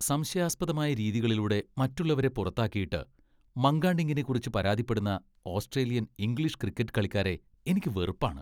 സംശയാസ്പദമായ രീതികളിലൂടെ മറ്റുള്ളവരെ പുറത്താക്കിയിട്ട് , മങ്കഡിംഗിനെക്കുറിച്ച് പരാതിപ്പെടുന്ന ഓസ്ട്രേലിയൻ, ഇംഗ്ലീഷ് ക്രിക്കറ്റ് കളിക്കാരെ എനിക്ക് വെറുപ്പാണ്.